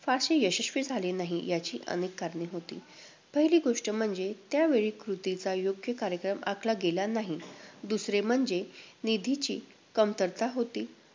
फारसे यशस्वी झाले नाही. याची अनेक कारणे होती. पहिली गोष्ट म्हणजे, त्यावेळी कृतीचा योग्य कार्यक्रम आखला गेला नाही. दुसरे म्हणजे, निधीची कमतरता होती,